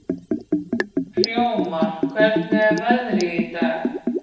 Hróðmar, hvernig er veðrið í dag?